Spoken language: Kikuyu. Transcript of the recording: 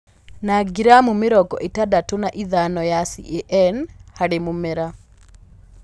Na gramu mĩrongo ĩtandatũ na ithano ya CAN/mũmera,